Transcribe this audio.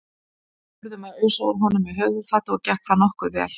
Við urðum að ausa úr honum með höfuðfati og gekk það nokkuð vel.